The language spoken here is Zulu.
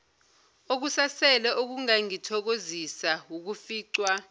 okusasele okungangithokozisa wukuficwa